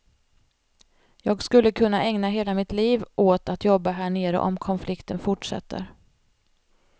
Jag skulle kunna ägna hela mitt liv åt att jobba här nere om konflikten fortsätter.